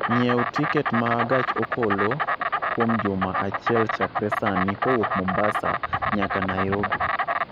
nyiew tiket ma gach okolokuom juma achiel chakre sani kowuok mombasa nyaka nairobi